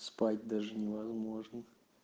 спать даже невозможно